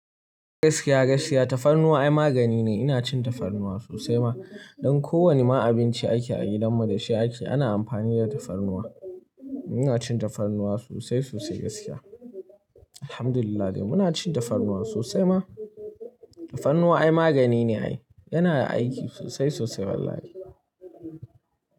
Gaskiya gaskiya tafarnuwa ai magani ne. Ina cin tafarnuwa sosai ma. Don ko wani ma abinci ake a gidanmu da shi ake, ana amfani da tafarnuwa. Muna cin tafarnuwa sosai sosai gaskiya. Alhamdulillah dai muna cin tafarnuwa sosai ma. Tafarnuwa ai magani ne ai. Yana aiki sosai sosai wallahi.